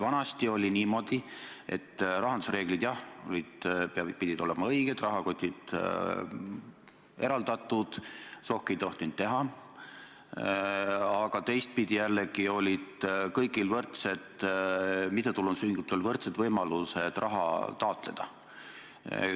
Vanasti oli niimoodi, et rahandusreeglid, jah, pidid olema õiged, rahakotid eraldatud, sohki ei tohtinud teha, aga teistpidi jällegi olid kõigil mittetulundusühingutel võrdsed võimalused raha taotleda.